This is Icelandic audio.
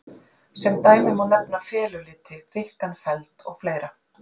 Sem dæmi má nefna feluliti, þykkan feld og fleira.